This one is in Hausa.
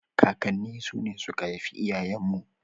Kakanni su ne suka haifi iyayen mu.